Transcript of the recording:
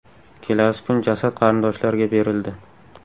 Kelasi kun jasad qarindoshlarga berildi.